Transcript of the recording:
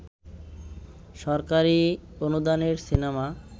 সরকারি অনুদানের সিনেমা